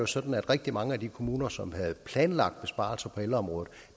sådan at rigtig mange af de kommuner som havde planlagt besparelser på ældreområdet